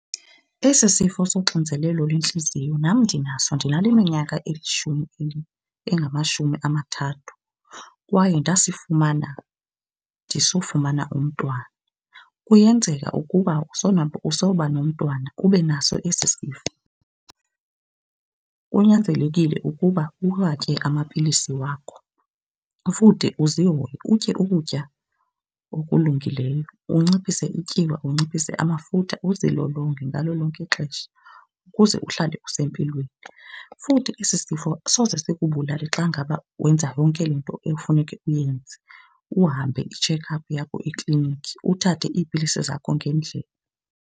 Esi sifo soxinzelelo lentliziyo nam ndinaso ndinale minyaka elishumi engamashumi amathathu kwaye ndasifumana ndisofumana umntwana. Kuyenzeka ukuba usowuba nomntwana ube naso esi sifo. Kunyanzelekile ukuba uwatye amapilisi wakho futhi uzihoye utye ukutya okulungileyo, unciphise ityiwa unciphise amafutha, uzilolonge ngalo lonke ixesha ukuze uhlale usempilweni. Futhi esi sifo soze sikubulale xa ngaba wenza yonke le nto ekufuneke uyenze, uhambe i-check up yakho ekliniki, uthathe iipilisi zakho ngendlela.